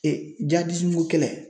jadizimuko kɛlɛ.